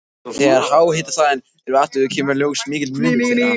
Þegar háhitasvæðin eru athuguð kemur í ljós mikill munur þeirra.